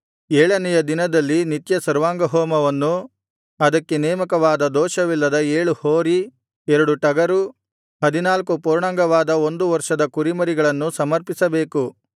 ಏಳನೆಯ ದಿನದಲ್ಲಿ ನಿತ್ಯ ಸರ್ವಾಂಗಹೋಮವನ್ನೂ ಅದಕ್ಕೆ ನೇಮಕವಾದ ದೋಷವಿಲ್ಲದ ಏಳು ಹೋರಿ ಎರಡು ಟಗರು ಹದಿನಾಲ್ಕು ಪೂರ್ಣಾಂಗವಾದ ಒಂದು ವರ್ಷದ ಕುರಿಮರಿಗಳನ್ನೂ ಸಮರ್ಪಿಸಬೇಕು